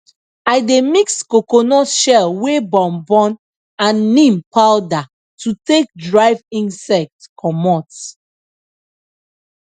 i dey mix coconut shell wey burn burn and neem powder to take drive insect comot